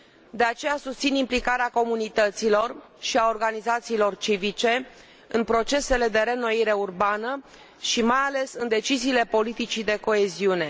De aceea, susțin implicarea comunităților și a organizațiilor civice în procesele de reînnoire urbană și, mai ales, în deciziile politicii de coeziune.